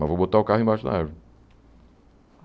Mas vou botar o carro embaixo da árvore.